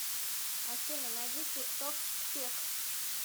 афина найди тик ток кпек